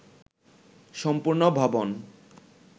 সম্পূর্ণ ভবন